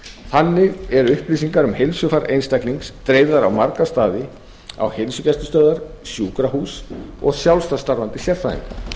þannig eru upplýsingar um heilsufar einstaklings dreifðar á marga staði á heilsugæslustöðvar sjúkrahús og sjálfstætt starfandi sérfræðinga